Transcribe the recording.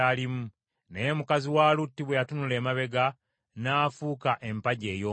Naye mukazi wa Lutti bwe yatunula emabega, n’afuuka empagi ey’omunnyo.